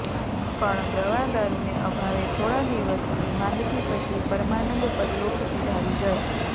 પણ દવાદારૂને અભાવે થોડા દિવસની માંદગી પછી પરમાનંદ પરલોક સિધાવી ગયા